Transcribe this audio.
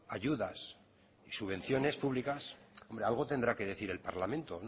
ayudas y subvenciones públicas algo tendrá que decir el parlamento